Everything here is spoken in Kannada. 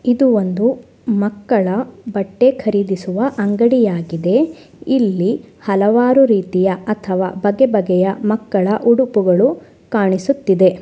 ಇದು ಒಂದು ಮಕ್ಕಳ ಬಟ್ಟೆ ಖರೀದಿಸುವ ಅಂಗಡಿಯಾಗಿದೆ ಇಲ್ಲಿ ಹಲವಾರು ರೀತಿಯ ಅಥವಾ ಬಗೆ ಬಗೆಯ ಮಕ್ಕಳ ಉಡುಪುಗಳು ಕಾಣಿಸುತ್ತಿದೆ.